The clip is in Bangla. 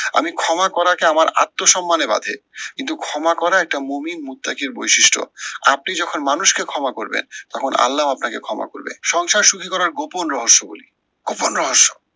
আমি ক্ষমা করারকে আমার আত্মসম্মানে বাঁধে। কিন্তু ক্ষমা করা একটা মহিন এর বৈশিষ্ট্য। আপনি যখন মানুষকে ক্ষমা করবেন, তখন আল্লাও আপনাকে ক্ষমা করবে। সংসার সুখী করার গোপন রহস্য বলি, গোপন রহস্য